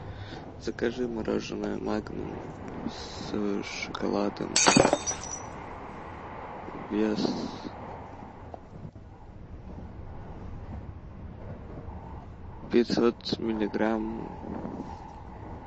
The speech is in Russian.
закажи мороженое магнум с шоколадом вес пятьсот миллиграмм